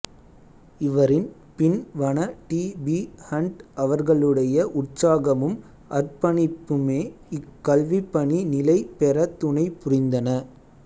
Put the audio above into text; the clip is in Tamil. இவரின் பின் வண டி பி ஹண்ட் அவர்களுடைய உற்சாகமும் அர்ப்பணிப்புமே இக் கல்விப்பணி நிலை பெற துணை புரிந்தன